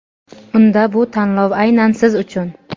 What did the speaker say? Unda bu tanlov aynan siz uchun!.